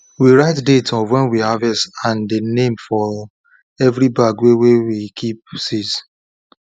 we write date of wen we harvest and dey name for every bag wey wey we kip seeds